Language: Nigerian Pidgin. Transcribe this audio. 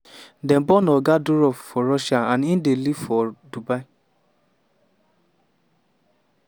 dem born oga durov for russia and e dey live for dubai.